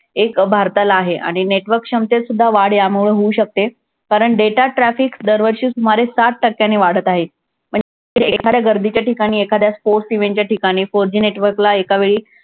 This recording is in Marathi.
एक भारताला आहे आणि network क्षमतेतसुद्धा वाढ यामुळे होऊ शकते. कारण data traffic दरवर्षी सुमारे साठ टक्क्यांनी वाढत आहे. पण एखाद्या गर्दीच्या ठिकाणी, एखाद्या sports event च्या ठिकाणी four G network ला एकावेळी